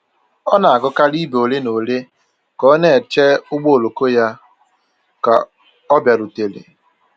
Ọ na-agụkarị ibe ole na ole ka ọ na-eche ụgbọ oloko ya ka ọ bịarute